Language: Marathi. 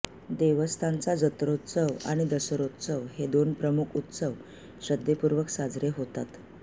देवस्थानचा जत्रोत्सव आणि दसरोत्सव हे दोन प्रमुख उत्सव श्रद्धेपूर्वक साजरे होतात